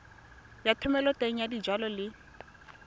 ya thomeloteng ya dijalo le